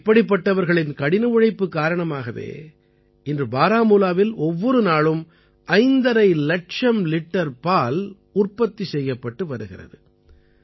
இப்படிப்பட்டவர்களின் கடின உழைப்புக் காரணமாகவே இன்று பாராமூலாவில் ஒவ்வொரு நாளும் 5½ இலட்சம் லிட்டர் பால் உற்பத்தி செய்யப்பட்டு வருகிறது